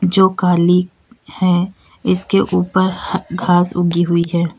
जो काली है इसके ऊपर ह घास उगी हुई है।